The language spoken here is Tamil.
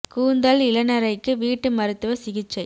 கூந்தல் இளநரைக்கு வீட்டு மருத்துவ சிகிச்சை